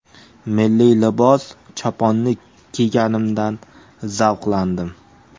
Milliy libos choponni kiyganimdan zavqlandim.